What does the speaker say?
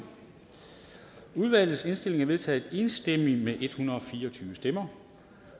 udvalgets indstilling er vedtaget enstemmigt med en hundrede og fire og tyve stemmer